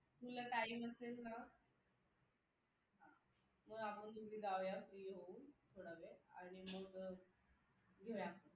तुला time असेल ना हा मग आपण दोघी जाऊया थोड्यावेळाने मग घेऊया